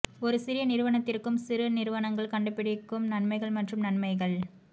ஒரு சிறிய நிறுவனத்திற்கும் சிறு நிறுவனங்கள் கண்டுபிடிக்கும் நன்மைகள் மற்றும் நன்மைகள்